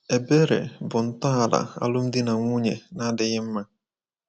Ebere bụ ntọala alụmdi na nwunye na-adịghị mma.